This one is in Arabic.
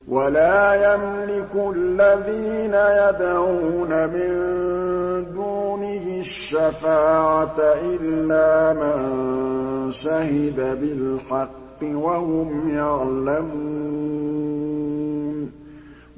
وَلَا يَمْلِكُ الَّذِينَ يَدْعُونَ مِن دُونِهِ الشَّفَاعَةَ إِلَّا مَن شَهِدَ بِالْحَقِّ وَهُمْ يَعْلَمُونَ